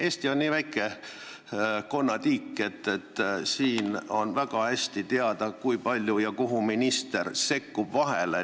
Eesti on nii väike konnatiik, et siin on väga hästi teada, kui palju ja kuhu minister sekkub.